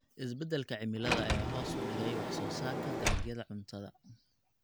Isbeddelka cimilada ayaa hoos u dhigay wax soo saarka dalagyada cuntada.